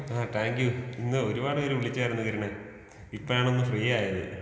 ആ താങ്ക്യൂ ഇന്ന് ഒരുപാട് വിളിച്ചായിരുന്നു കിരണേ ഇപ്പഴാണൊന്ന് ഫ്രീ ആയത്.